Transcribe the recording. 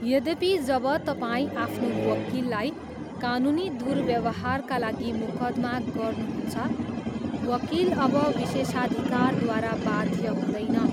यद्यपि, जब तपाईँ आफ्नो वकिललाई कानुनी दुर्व्यवहारका लागि मुकदमा गर्नुहुन्छ, वकिल अब विशेषाधिकारद्वारा बाध्य हुँदैन।